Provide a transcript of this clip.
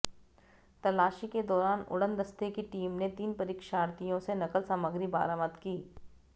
तलाशी के दौरान उड़नदस्ते की टीम ने तीन परीक्षार्थियों से नकल सामग्री बरामद की